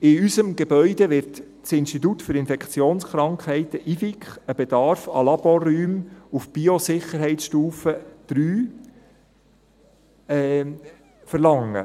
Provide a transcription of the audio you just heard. In unserem Gebäude wird das Institut für Infektionskrankheiten (IFIK) einen Bedarf an Laborräumen auf der Biosicherheitsstufe 3 (BSL 3) verlangen.